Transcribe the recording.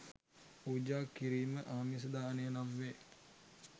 පූජා කිරීම ආමිස දානය නම් වේ.